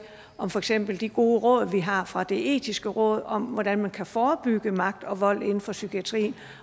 om for eksempel de gode råd vi har fra det etiske råd om hvordan man kan forebygge magt og vold inden for psykiatrien